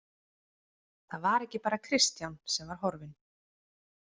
Það var ekki bara Kristján sem var horfinn.